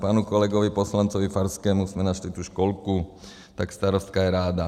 Panu kolegovi poslanci Farskému jsme našli tu školku, tak starostka je ráda.